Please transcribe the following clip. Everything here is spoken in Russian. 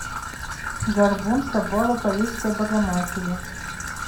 горбун собора парижской богоматери